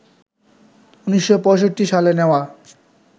১৯৬৫ সালে নেওয়া